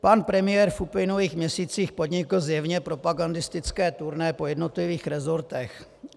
Pan premiér v uplynulých měsících podnik zjevně propagandistické turné po jednotlivých resortech.